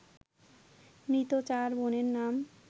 মৃত চার বোনের নাম